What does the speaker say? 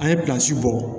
An ye bɔ